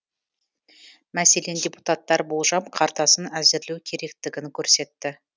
мәселен депутаттар болжам картасын әзірлеу керектігін көрсетті